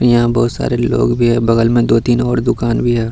यहाँ बहुत सारे लोग भी हैं बगल में दो-तीन और दुकान भी है।